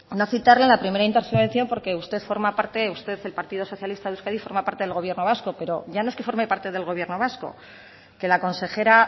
no citarle en la primera intervención porque usted forma parte usted el partido socialista de euskadi forma parte del gobierno vasco pero ya no es que forme parte del gobierno vasco que la consejera